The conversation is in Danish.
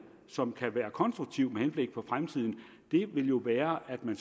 som kan være konstruktiv med henblik på fremtiden jo være at man